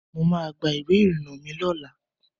Mo ma gba ìwé ìrìnà mi lọ́la.